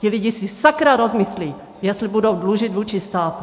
Ti lidé si sakra rozmyslí, jestli budou dlužit vůči státu!